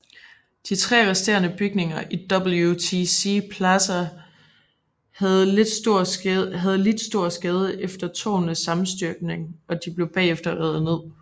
De tre resterende bygninger i WTC Plaza havde lidt stor skade efter tårnenes sammenstyrtning og de blev bagefter revet ned